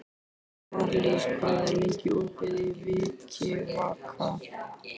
Marlís, hvað er lengi opið í Vikivaka?